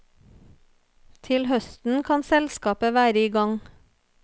Til høsten kan selskapet være i gang.